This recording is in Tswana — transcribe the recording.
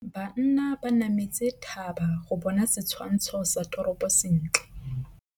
Banna ba nametse thaba go bona setshwantsho sa toropô sentle.